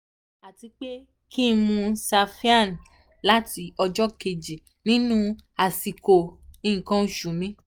àti pé kí n mú siphane láti ọjọ́ kejì nínú àsìkò nǹkan oṣù mi